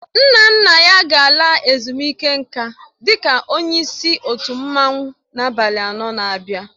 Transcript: Nna nna ya ga-ala ezumike nká dị ka onye isi otu mmanwụ na abalị anọ n'abia.